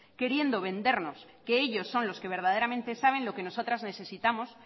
queriendo vendernos que ellos son los que verdaderamente saben lo que nosotras necesitamos